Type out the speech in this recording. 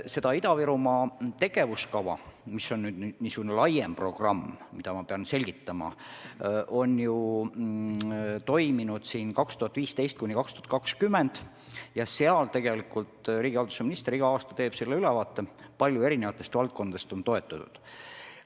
Sellest Ida-Virumaa tegevuskavast, mis on laiem programm aastateks 2015–2020 ja mida ma pean praegu selgitama, on tegelikult riigihalduse minister iga aasta ülevaate andnud ja seda on palju erinevates valdkondades toetatud.